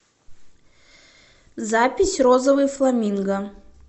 запись розовый фламинго